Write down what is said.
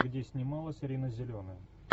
где снималась рина зеленая